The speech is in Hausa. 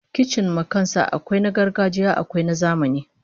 Kicin ma kan sa akwai na gargajiya akwai na zamani